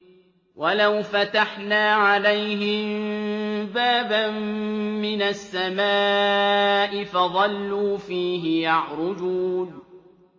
وَلَوْ فَتَحْنَا عَلَيْهِم بَابًا مِّنَ السَّمَاءِ فَظَلُّوا فِيهِ يَعْرُجُونَ